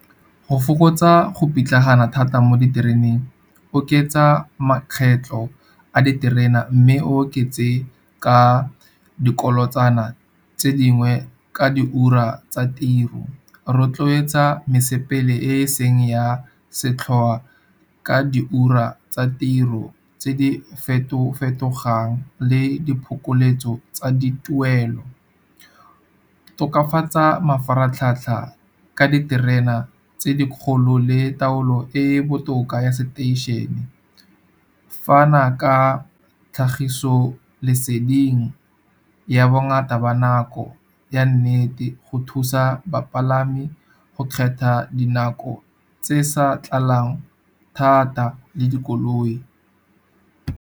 Go fokotsa go pitlagana thata mo ditereneng, oketsa makgetlho a diterena mme oketse ka dikolotsana kana tse dingwe ka di ura tsa tiro. Rotloetsa mosepele e seng ya setlhoa ka di ura tsa tiro tse di feto-fetogang le diphokoletso tsa dituelo. Tokafatsa mafaratlhatlha ka diterena tse di kgolo le taolo e e botoka ya seteišene. Fana ka tlhagiso leseding ya bongata ba nako ya nnete go thusa bapalami go kgetha dinako tse sa tlalang thata le dikoloi.